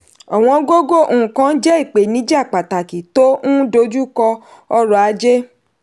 ọ̀wọ́n gógó nkan jẹ́ ipenija pàtàkì tó n dojú kọ ọrọ̀ ajé.